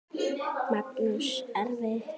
Magnús: Erfitt?